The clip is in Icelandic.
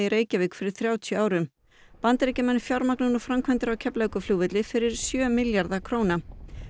Reykjavík fyrir þrjátíu árum Bandaríkjamenn fjármagna nú framkvæmdir á Keflavíkurflugvelli fyrir um sjö milljarða króna